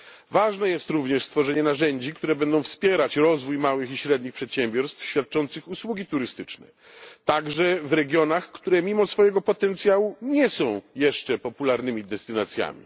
Ważne jest również stworzenie narzędzi, które będą wspierać rozwój małych i średnich przedsiębiorstw świadczących usługi turystyczne, także w regionach, które mimo swojego potencjału, nie są jeszcze popularnymi destynacjami.